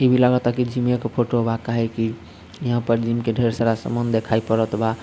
इ भी लागता की जिमे के फोटो बा काहे की यहाँ पर जिम के ढेर सारा सामान देखाई पड़त बा |